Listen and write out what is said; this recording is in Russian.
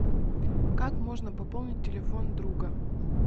как можно пополнить телефон друга